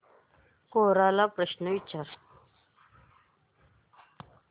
कोरा ला प्रश्न विचार